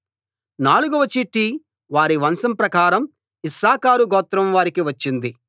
నాలుగవ చీటి వారి వంశం ప్రకారం ఇశ్శాఖారు గోత్రం వారికి వచ్చింది